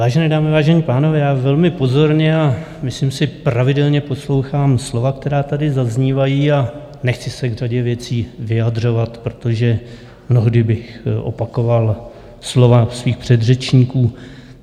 Vážené dámy, vážení pánové, já velmi pozorně - a myslím si pravidelně -poslouchám slova, která tady zaznívají, a nechci se k řadě věcí vyjadřovat, protože mnohdy bych opakoval slova svých předřečníků.